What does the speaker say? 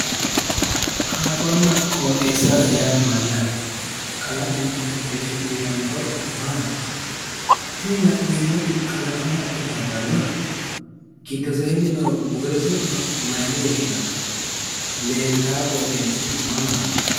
Kalaqonna qooxeessa yaa mayyaate? Kalaqonna qooxeessa uuyitanno horo maati? tini la'neemmoti kalaqamu haqqe labbannohe giddoseenni nooha murote su'ma mayine woshshinanni? Leeltaa qooxeessi mamaati?